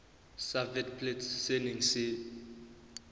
sa witblits se neng se